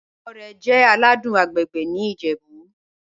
Ikọ́rẹ̀ jẹ́ àlàdùn àgbègbè̀ ní Ìjẹ̀bú.